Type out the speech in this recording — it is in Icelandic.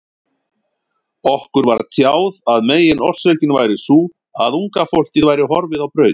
Okkur var tjáð að meginorsökin væri sú, að unga fólkið væri horfið á braut.